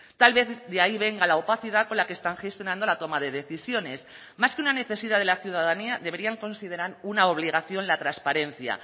tal vez de ahí venga la opacidad con la que están gestionando la toma de decisiones más que una necesidad de la ciudadanía deberían considerar una obligación la transparencia